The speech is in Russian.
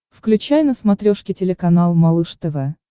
включай на смотрешке телеканал малыш тв